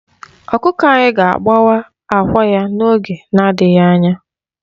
Ọkụkọ anyị ga-agbawa àkwá ya n'oge na-adịghị anya.